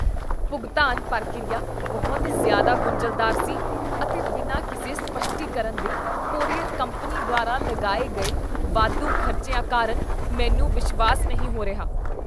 ਭੁਗਤਾਨ ਪ੍ਰਕਿਰਿਆ ਬਹੁਤ ਜ਼ਿਆਦਾ ਗੁੰਝਲਦਾਰ ਸੀ, ਅਤੇ ਬਿਨਾਂ ਕਿਸੇ ਸਪੱਸ਼ਟੀਕਰਨ ਦੇ ਕੋਰੀਅਰ ਕੰਪਨੀ ਦੁਆਰਾ ਲਗਾਏ ਗਏ ਵਾਧੂ ਖ਼ਰਚਿਆਂ ਕਾਰਨ ਮੈਨੂੰ ਵਿਸ਼ਵਾਸ ਨਹੀਂ ਹੋ ਰਿਹਾ।